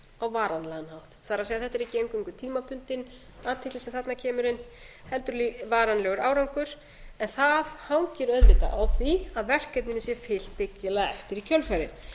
á varanlegan hátt það er þetta er ekki eingöngu tímabundin athygli sem þarna kemur inn heldur varanlegur árangur en það hangir auðvitað á því að verkefninu sé fylgt dyggilega eftir í kjölfarið